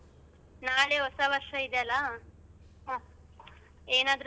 ನಾಳೆ ಹೊಸವರ್ಷ ಇದಿಯಲ ಏನಾದ್ರು special?